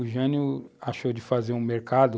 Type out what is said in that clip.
O Jânio achou de fazer um mercado